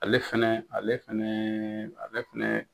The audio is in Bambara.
Ale fɛnɛ ale fɛnɛ ale fɛnɛ